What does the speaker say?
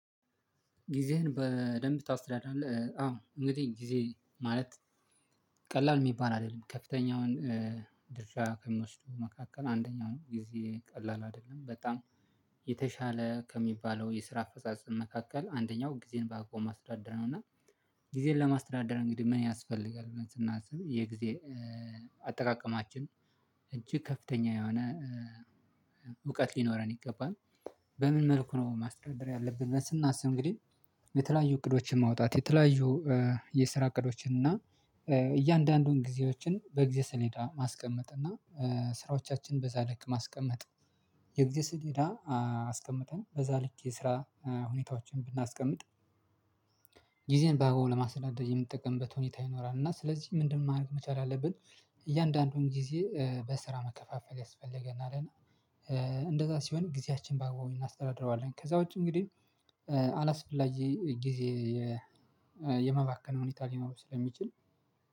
ጊዜህን በደንብ ታስተዳዳለህ አዎ እንግዲህ ጊዜ ማለት ቀላል የሚባል አይደለም ከፍተኛውን ድርሻ ከሚወስዱ መካከል አንደኛው ነው። ጊዜ ቀላል አይደለም በጣም የተሻለ ከሚባለው የስራ አፈጻጸም መካከል አንደኛው ጊዜን በአቋም ማስተዳደረነው እና ጊዜን ለማስተዳደር እንግዲህ ምን ያስፈልጋል ብለን ስናስብ፣ የጊዜ አጠቃቀማችን እጅግ ከፍተኛ የሆነ እውቀት ሊኖረን ይገባል በምን መልኩ ነው ማስተታደር ያለብን ስናስብ እንግዲህ፣ የተለያዩ እቅዶችን ማውጣት፣ የተለያዩ የስራ እቅዶችን እና እያንዳንዱን ጊዜዎችን በጊዜ ስሌታ ማስቀመጥ እና ስራዎቻችን በዛ ልክ ማስቀመጥ የግዜ ስሌዳ አስቀምጠን በዛ ልክ የስራ ሁኔታዎችን ብናስቀምጥ ጊዜን ባግባቡ ለማስተዳደር የምትጠቀምበት ሁኔታ ይኖራል እና ስለዚህ ምንድነው ማድረግ መቻል አለብን እያንዳንዱን ጊዜ በስራ ማከፋፈል ያስፈልገናል እና እንደዛ ሲሆን ጊዜያችን ባግባው እናስተዳድረዋለን። ከዛ ውጪ እንግዲህ አላስፈላጊ ጊዜ የማባከን ሁኔታ ሊኖሩ ስለሚችል